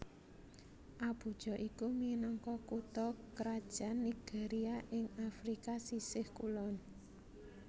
Abuja iku minangka kutha krajan Nigeria ing Afrika sisih kulon